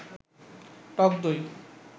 টক দই